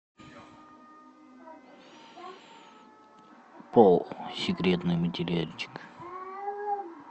пол секретный материальчик